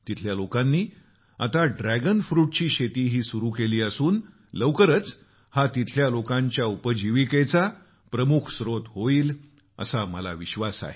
तिथल्या लोकांनी आता ड्रॅगन फ्रुटची शेतीही सुरू केली असून लवकरच हा तिथल्या लोकांच्या उपजीविकेचा प्रमुख स्त्रोत होईल असा मला विश्वास आहे